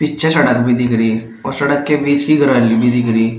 पीच्छे सड़क भी दिख रही और सड़क के बीच की भी दिख रही --